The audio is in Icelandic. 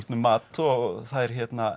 mat og þær